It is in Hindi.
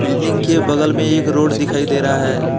बिल्डिंग के बगल में एक रोड दिखाई दे रहा है।